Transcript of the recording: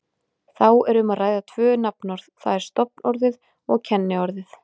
Þá er um að ræða tvö nafnorð, það er stofnorðið og kenniorðið.